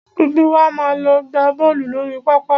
Gbogbo wa máa lọ gbá bọ́ọ̀lù lórí pápá.